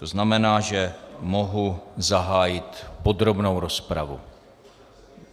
To znamená, že mohu zahájit podrobnou rozpravu.